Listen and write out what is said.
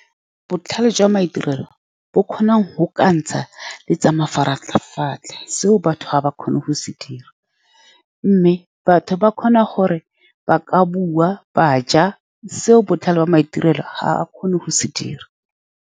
Botlhale jwa maitirelo bo kgona go ka ntsha le tsa mafaratlhatlha. Seo batho ga ba kgone go se dira, mme batho ba kgona gore ba ka bua ba ja, seo botlhale jwa maitirelo ga a kgone go se dira.